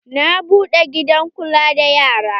Na buɗe gidan kula da yara.